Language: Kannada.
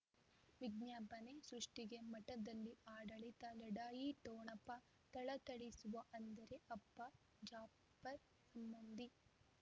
ವಿಜ್ಞಾಪನೆ ಸೃಷ್ಟಿಗೆ ಮಠದಲ್ಲಿ ಆಡಳಿತ ಲಢಾಯಿ ಠೊಣಪ ಥಳಥಳಿಸುವ ಅಂದರೆ ಅಪ್ಪ ಜಾಫರ್ ಸಂಬಂಧಿ